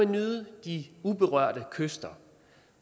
nyde de uberørte kyster